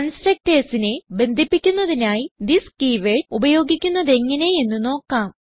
constructorsനെ ബന്ധിപ്പിക്കുന്നതിനായി this keyword ഉപയോഗിക്കുന്നതെങ്ങനെ എന്ന് നോക്കാം